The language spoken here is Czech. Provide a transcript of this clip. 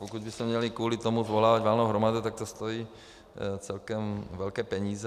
Pokud bychom měli kvůli tomu svolávat valnou hromadu, tak to stojí celkem velké peníze.